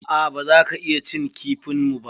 A'a, baza ka iya cin kifin mu ba.